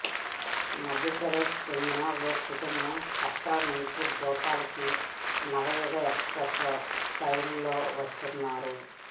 మధ్యప్రదేశ్ కి చెందిన ఓ కుటుంబం కట్రా నుంచి భోపాల్ కి నవయుగ ఎక్స్ ప్రెస్ రైలులో వస్తున్నారు